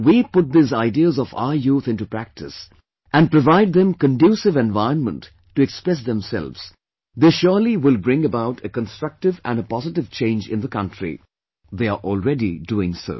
If we put these ideas of our youthinto practice and provide them conducive environment to express themselves, they surely will bring about a constructive and a positive change in the country they are already doing so